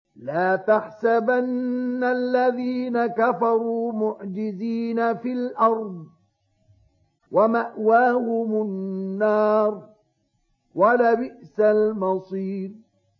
لَا تَحْسَبَنَّ الَّذِينَ كَفَرُوا مُعْجِزِينَ فِي الْأَرْضِ ۚ وَمَأْوَاهُمُ النَّارُ ۖ وَلَبِئْسَ الْمَصِيرُ